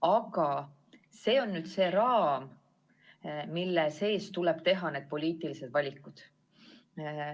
Aga see on raam, mille sees tuleb teha poliitilised valikud.